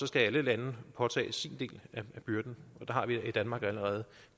skal alle lande påtage del af byrden og der har vi i danmark allerede